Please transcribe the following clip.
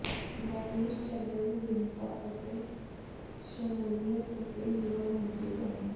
ਬੈਰੀਸ਼ ਚੱਗਰ ਵਿਭਿੰਨਤਾ ਅਤੇ ਸ਼ਮੂਲੀਅਤ ਅਤੇ ਯੁਵਾ ਮੰਤਰੀ ਬਣੇ